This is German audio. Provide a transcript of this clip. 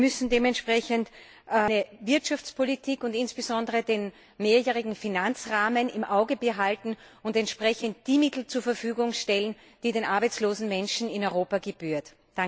Wir müssen dementsprechend eine Wirtschaftspolitik und insbesondere den mehrjährigen Finanzrahmen im Auge behalten und entsprechend die Mittel zur Verfügung stellen, die den arbeitslosen Menschen in Europa gebühren.